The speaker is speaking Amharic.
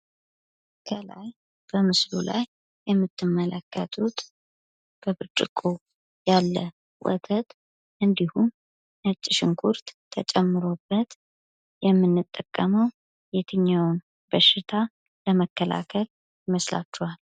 ከላይ በምስሉ ላይ የምትመለከቱት በብርጭቆ ያለ ወተት እንዲሁም ነጭ ሽንኩርት ተጨምሮበት የምንጠቀመው የትኛውን በሽታ ለመከላከል ይመስላችኋል?